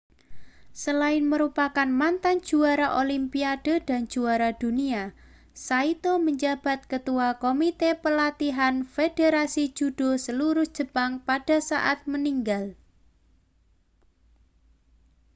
selain merupakan mantan juara olimpiade dan juara dunia saito menjabat ketua komite pelatihan federasi judo seluruh jepang pada saat meninggal